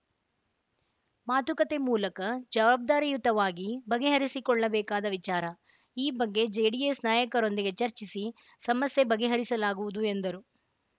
ಮಾತುಕತೆ ಮೂಲಕ ಜವಾಬ್ದಾರಿಯುತವಾಗಿ ಬಗೆಹರಿಸಿಕೊಳ್ಳಬೇಕಾದ ವಿಚಾರ ಈ ಬಗ್ಗೆ ಜೆಡಿಎಸ್‌ ನಾಯಕರೊಂದಿಗೆ ಚರ್ಚಿಸಿ ಸಮಸ್ಯೆ ಬಗೆಹರಿಸಲಾಗುವುದು ಎಂದರು